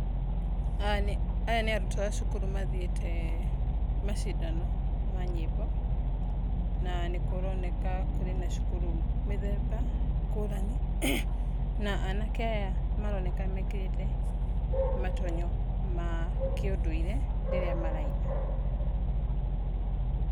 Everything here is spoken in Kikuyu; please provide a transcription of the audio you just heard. Aya nĩ arutwo a cukuru mathĩite macindano ma nyĩmbo, na nĩ kũroneka kũrĩ na cukuru mĩthemba ngũrani, na anake aya maroneka mekĩrĩte matonyo ma kĩundũire rĩrĩa maraina.